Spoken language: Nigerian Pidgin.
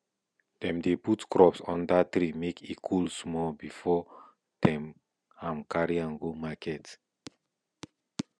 dem dey put crops under tree make e cool small before dem am carry go market